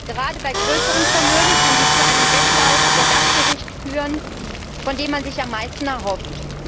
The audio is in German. Gerade bei größeren Vermögen kann dies zu einem Wettlauf vor das Gericht führen, von dem man sich am meisten erhofft.